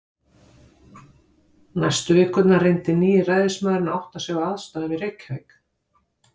Næstu vikurnar reyndi nýi ræðismaðurinn að átta sig á aðstæðum í Reykjavík.